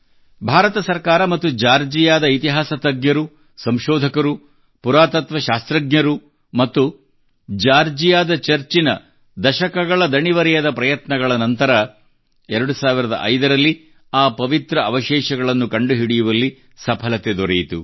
ಭಾರತ ಸರ್ಕಾರ ಮತ್ತು ಜಾರ್ಜಿಯಾದ ಇತಿಹಾಸ ತಜ್ಞರು ಸಂಶೋಧಕರು ಪುರಾತತ್ವ ಶಾಸ್ತ್ರಜ್ಞರು ಮತ್ತು ಜಾರ್ಜಿಯಾದ ಚರ್ಚಿನ ದಶಕಗಳ ದಣಿವರಿಯದ ಪ್ರಯತ್ನಗಳ ನಂತರ 2005 ರಲ್ಲಿ ಆ ಪವಿತ್ರ ಅವಶೇಷಗಳನ್ನು ಕಂಡುಹಿಡಿಯುವಲ್ಲಿ ಸಫಲತೆ ದೊರೆಯಿತು